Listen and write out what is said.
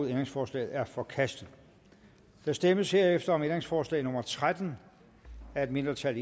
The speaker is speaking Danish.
ændringsforslaget er forkastet der stemmes herefter om ændringsforslag nummer tretten af et mindretal